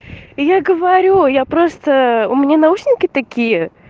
и я говорю я просто у меня наушники такие